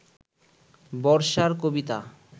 বর্ষার কবিতা